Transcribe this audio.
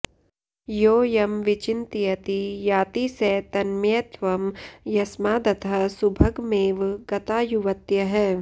यो यं विचिन्तयति याति स तन्मयत्वं यस्मादतः सुभगमेव गता युवत्यः